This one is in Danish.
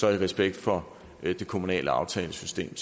er det respekt for det kommunale aftalesystem